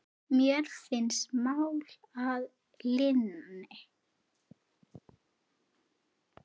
Mér finnst mál að linni.